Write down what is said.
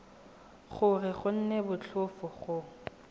gore go nne motlhofo go